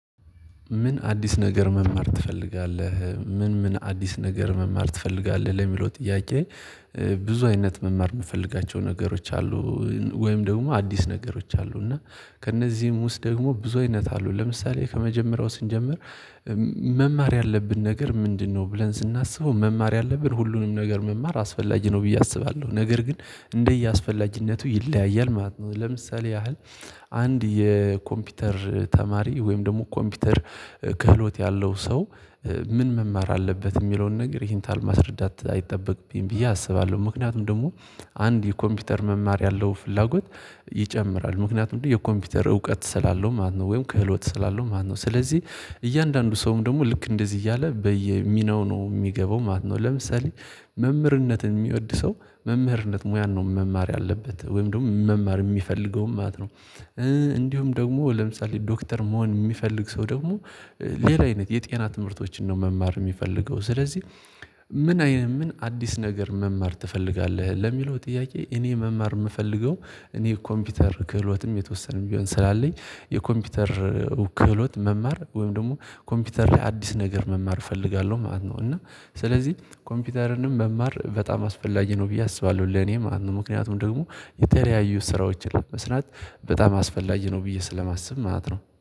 ምን አዲስ ነገር መማር ትፈልጋለህ? ምን ምን አዲስ ነገር መማር ትፈልጋለህ ለሚለው ጥያቄ። ብዙ አይነት መማር የምፈልጋቸው ነገሮች አሉ። ወይም ደግሞ አዲስ ነገሮች አሉ እና ከእነዚህም ውስጥ ደግሞ ብዙ አይነት አሉ ለምሳሌ ከመጀመሪያው ስንጀምር። መማር ያለብን ነገር ምንድነው ብለን ስናስበው መማር ያለብን ሁሉንም ነገር መማር አስፈላጊ ነው ብዬ አስባለሁ። ነገር ግን እንደየ አስፈላጊነቱ ይለያያል ማለት ነው ለምሳሌ ያህል። አንድ የኮምፒውተር ተማሪ ወይም ደግሞ ኮምፒውተር ክህሎት ያለው ሰው። ምን መማር አለበት የሚለውን ነገር ይሄን ታል ማስረዳት አይጠበቅብኝም ብዬ አስባለሁ። ምክንያቱም ደግሞ አንድ የኮምፒውተር መማር ያለው ፍላጎት ይጨምራል ምክንያቱም የኮምፒውተር እውቀት ስላለው ማለት ነው ወይም ክህሎት ስላለው ማለት ነው። ስለዚህ እያንዳንዱ ሰውም ደግሞ ልክ እንደዚህ እያለ በየሚናው ነው የሚገባው ማለት ነው። ለምሳሌ መምህርነትን የሚወድ ሰው መምህርነት ሙያን ነው መማር ያለበት ወይም ደግሞ መማር የሚፈልገውም ማለት ነው። እንዲሁም ደግሞ ለምሳሌ ዶክተር መሆን የሚፈልግ ሰው ደግሞ ሌላ አይነት የጤና ትምህርቶችን ነው መማር የሚፈልገው ስለዚህ። ምን አይነት ምን አዲስ ነገር መማር ትፈልጋለህ? ለሚለው ጥያቄ እኔ መማር የምፈልገው እኔ ኮምፒውተር ክህሎትም የተወሰነም ቢሆን ስላለኝ የኮምፒውተር ክህሎት መማር ወይም ደግሞ ኮምፒውተር ላይ አዲስ ነገር መማር እፈልጋለሁ ማለት ነው። እና ስለዚህ ኮምፒውተርንም መማር በጣም አስፈላጊ ነው ብዬ አስባለሁ ለኔ ማለት ነው። ምክንያቱም ደግሞ የተለያዩ ስራዎችን ለመስራት በጣም አስፈላጊ ነው ብዬ ስለማስብ ማለት ነው